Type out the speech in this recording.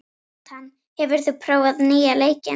Nathan, hefur þú prófað nýja leikinn?